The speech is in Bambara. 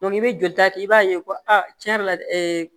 i bɛ joli ta kɛ i b'a ye ko tiɲɛ yɛrɛ la